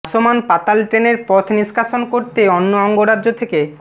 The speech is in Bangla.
ভাসমান পাতাল ট্রেনের পথ নিষ্কাশন করতে অন্য অঙ্গরাজ্য থেকে